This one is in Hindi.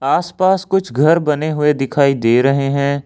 आस पास कुछ घर बने हुए दिखाई दे रहे हैं।